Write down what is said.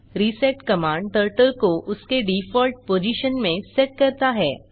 reset command turtle को उसके default position में सेट करता है